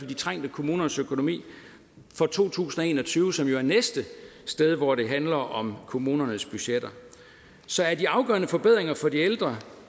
de trængte kommuners økonomi for to tusind og en og tyve som jo er næste sted hvor det handler om kommunernes budgetter så er de afgørende forbedringer for de ældre